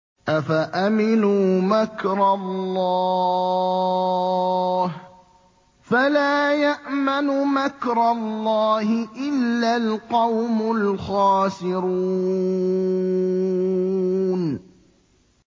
أَفَأَمِنُوا مَكْرَ اللَّهِ ۚ فَلَا يَأْمَنُ مَكْرَ اللَّهِ إِلَّا الْقَوْمُ الْخَاسِرُونَ